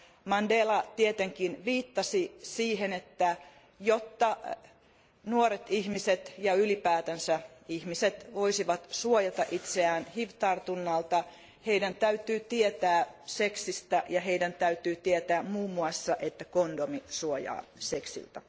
Mandela tietenkin viittasi siihen, että jotta nuoret ihmiset ja ylipäänsä ihmiset voisivat suojata itseään hiv tartunnalta, heidän täytyy tietää seksistä ja heidän täytyy tietää muun muassa, että kondomi suojaa seksiltä.